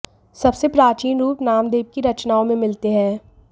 सबसे प्राचीन रुप नामदेव की रचनाओं में मिलते हैं